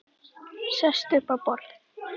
Sest upp á borð.